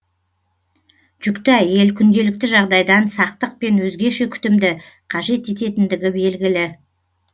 жүкті әйел күнделікті жағдайдан сақтық пен өзгеше күтімді қажет ететіндігі белгілі